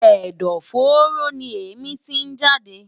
Ẹ̀dọ̀-fóró ni èémí tí ń jáde.